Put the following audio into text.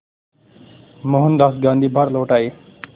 मोहनदास गांधी भारत लौट आए